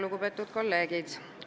Lugupeetud kolleegid!